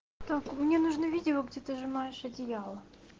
так мне нужны видео где ты сжимаешь одеяло